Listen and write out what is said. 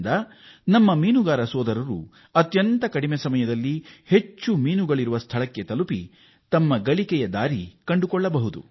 ಇದು ನಮ್ಮ ಮೀನುಗಾರ ಸೋದರರು ಹೆಚ್ಚು ಮೀನುಗಳು ದೊರಕುವ ಸ್ಥಳದತ್ತ ಅತಿ ಕಡಿಮೆ ಅವಧಿಯಲ್ಲಿ ಹೋಗಲು ಸಹಕಾರಿಯಾಗಿದೆ ಮತ್ತು ಅದು ಅವರ ಜೀವನೋಪಾಯದ ಗಳಿಕೆ ಹೆಚ್ಚಿಸಲೂ ಅನುವಾಗಲಿದೆ